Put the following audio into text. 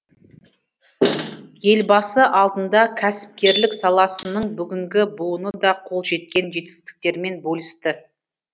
елбасы алдында кәсіпкерлік саласының бүгінгі буыны да қол жеткен жетістіктерімен бөлісті